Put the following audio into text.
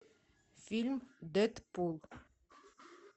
фильм дэдпул